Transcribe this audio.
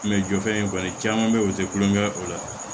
jɔ fɛn kɔni caman be yen o te kulonkɛ ye o la